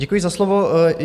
Děkuji za slovo.